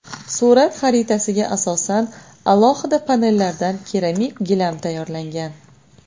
Surat xaritasiga asosan alohida panellardan keramik gilam tayyorlangan.